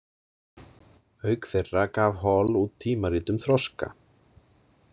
Auk þeirra gaf Hall út tímarit um þroska.